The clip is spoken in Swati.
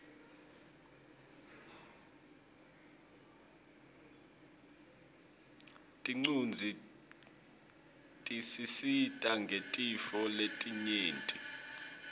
tincuadzi tisisita ngetintfo letinyenti